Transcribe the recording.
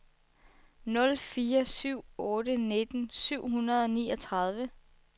nul fire syv otte nitten syv hundrede og niogtredive